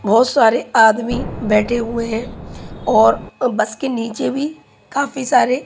बहोत सारे आदमी बैठे हुए हैं और बस के नीचे भी काफी सारे--